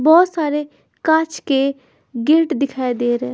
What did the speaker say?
बहुत सारे कांच के गेट दिखाई दे रहे--